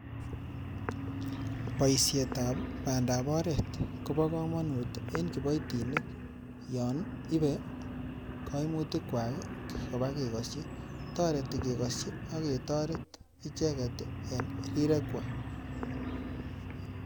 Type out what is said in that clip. Boishetab bandap oret kobo komonut en kiboitinik yon ibe koimutikwak kobakekosyi. Toreti kekosyi, aketoret icheket en rirekwak.